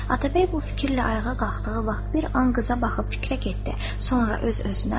Atabəy bu fikirlə ayağa qalxdığı vaxt bir an qıza baxıb fikrə getdi.